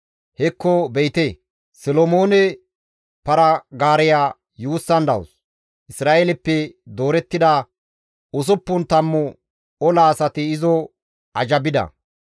Hekko be7ite, Solomoone para-gaareya yuussan dawus; Isra7eeleppe doorettida usuppun tammu ola asati izo azhabida.